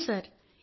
అవును సార్